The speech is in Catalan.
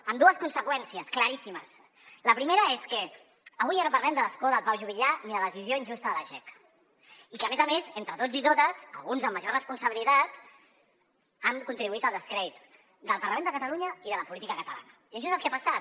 amb dues conseqüències claríssimes la primera és que avui ja no parlem de l’escó de pau juvillà ni de la decisió injusta de la jec i que a més a més entre tots i totes alguns amb major responsabilitat han contribuït al descrèdit del parlament de catalunya i de la política catalana i això és el que ha passat